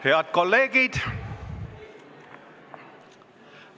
Head kolleegid!